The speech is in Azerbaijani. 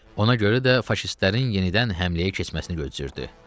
Ona görə də faşistlərin yenidən həmləyə keçməsini gözləyirdi.